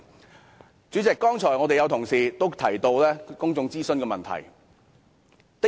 代理主席，剛才有同事提到公眾諮詢的問題。